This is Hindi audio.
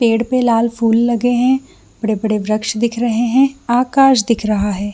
पेड़ पर लाल फूल लगे हैं बड़े-बड़े वृक्ष देख रहे हैं आकाश दिख रहा है।